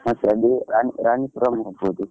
ಮತ್ತೆ ಅದು, ರಾಣೀ~ ರಾಣಿಪುರಂ ಹೋಗ್ಬೋದು.